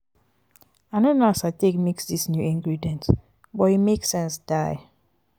i no know as i take mix dis new ingredients but e make sense die.